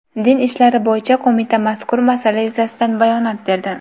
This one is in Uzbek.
Din ishlari bo‘yicha qo‘mita mazkur masala yuzasidan bayonot berdi.